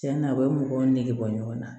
Tiɲɛna u bɛ mɔgɔw nege bɔ ɲɔgɔn na